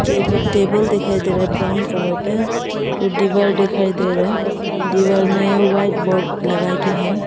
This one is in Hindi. टेबल टेबल दिखाई दे रहे हैं ब्राउन कलर का और दीवार दिखाई दे रहा है दीवार में व्हाइट बोर्ड लगा के है।